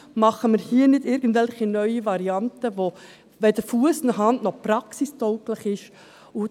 Machen wir hier nicht irgendwelche neuen Varianten, die weder Fuss noch Hand haben, noch praxistauglich sind.